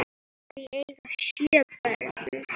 Þau eiga sjö börn.